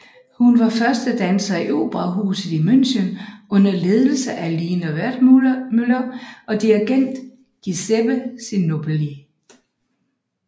Hun var første danser i Operahuset i München under ledelse af Lina Wertmuller og dirigent Giuseppe Sinopoli